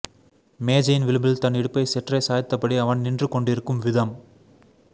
மேஜையின் விளிம்பில் தன் இடுப்பை சற்றே சாய்த்தபடி அவன் நின்றுகொண்டிருக்கும் விதம்